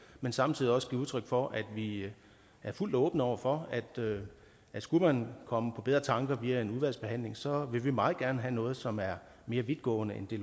men samtidig også give udtryk for at vi er fuldt åbne over for at skulle man komme på bedre tanker via en udvalgsbehandling så vil vi meget gerne have noget som er mere vidtgående end det